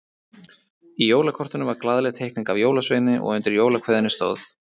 Í jólakortinu var glaðleg teikning af jólasveini og undir jólakveðjunni stóð